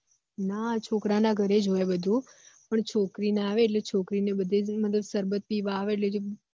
ના છોકરા ના ઘર જ હોય બધું પણ છોકરી ના આવે છોકરી ને બધે કઈ ક સરબત પીવા આવે એટલે એ